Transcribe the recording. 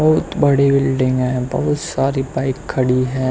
बहुत बड़ी बिल्डिंग है बहुत सारा बाइक खड़ी है।